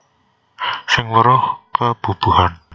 Sing weruh kebubuhan